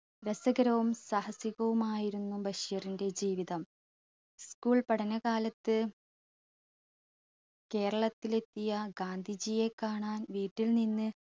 രസകരവും സാഹസികവുമായിരുന്നു ബഷീറിന്റെ ജീവിതം school പഠനകാലത്ത് കേരളത്തിലെത്തിയ ഗാന്ധിജിയെ കാണാൻ വീട്ടിൽ നിന്ന്